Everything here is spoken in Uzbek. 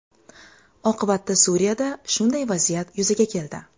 Oqibatda Suriyada shunday vaziyat yuzaga keldi.